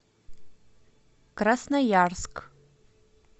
красноярск